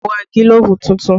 Mo ra gílóbú tuntun